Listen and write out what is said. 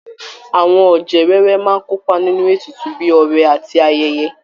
Àwọn ọ̀jẹ̀ wẹ́wẹ́ máa kópa nínú ètùtù bíi ọrẹ àti ayẹyẹ